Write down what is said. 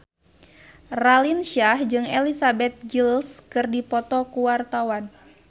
Raline Shah jeung Elizabeth Gillies keur dipoto ku wartawan